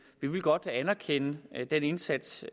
vi vil godt anerkende den indsats